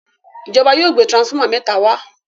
ìjọba yóò gbé transformer méta wá.